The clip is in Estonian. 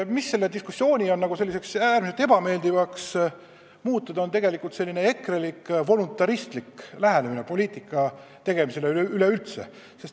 Meie diskussiooni on äärmiselt ebameeldivaks muutnud ekrelik voluntaristlik lähenemine poliitika tegemisele üleüldse.